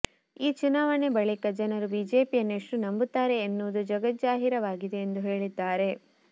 ಈ ಚುನಾವಣೆ ಬಳಿಕ ಜನರು ಬಿಜೆಪಿಯನ್ನು ಎಷ್ಟು ನಂಬುತ್ತಾರೆ ಎನ್ನುವುದು ಜಗಜ್ಜಾಹಿರವಾಗಿದೆ ಎಂದು ಹೇಳಿದ್ದಾರೆ